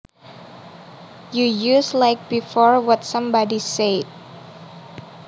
You use like before what somebody said